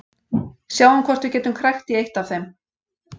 Sjáum hvort við getum krækt í eitt af þeim.